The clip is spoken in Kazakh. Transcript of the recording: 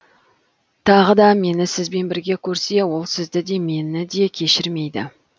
тағы да мені сізбен бірге көрсе ол сізді де мені де кешірмейді